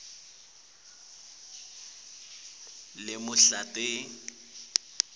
ingubo yawo leluhlata